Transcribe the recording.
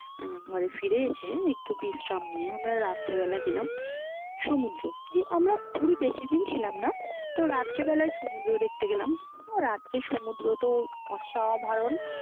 ঘরে ফিরে এসে একটু বিশ্রাম নিয়ে আমরা রাত্রে বেলা গেলাম সমুদ্র দিয়ে আমরা পুরি বেশিদিন ছিলাম না, তো রাত্রে বেলায় সমুদ্র দেখ্তে গেলাম, রাত্রে সমুদ্র তো অসাধারণ